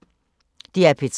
DR P3